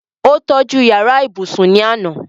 ó tọ́ju yàrá ibùsùn ní àná